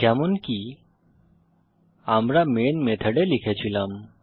যেমনকি আমরা মেন মেথডে লিখেছিলাম